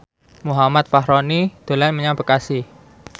Muhammad Fachroni dolan menyang Bekasi